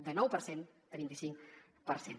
de nou per cent a vint i cinc per cent